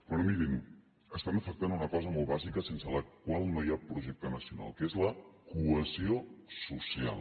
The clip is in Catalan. però mirin afecten una cosa molt bàsica sense la qual no hi ha projecte nacional que és la cohesió so·cial